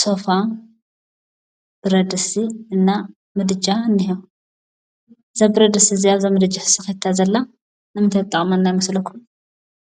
ሶፋ ብረድስቲ እና ምድጃ እኒሄ። እዛ ብረድስቲ እዚአ ምድጃ ተሰክቲታ ዘላ ንምንታይ ትጥቅመና ይመስለኩም?